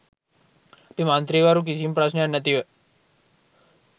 අපි මන්ත්‍රීවරු කිසිම ප්‍රශ්නයක් නැතිව